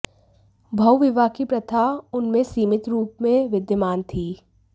बहुविवाह की प्रथा उनमें सीमित रूप में विद्यमान थी